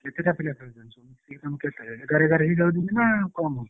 କେତେଟା ପିଲା ଖେଳୁଛନ୍ତି ଏଗାର ଏଗାର ହେଇଯାଉଛନ୍ତି ନା କମ ହଉଛି?